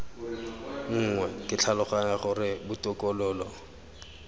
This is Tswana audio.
nngwe ke tlhaloganya gore botokololo